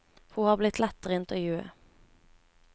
Hun har blitt lettere å intervjue.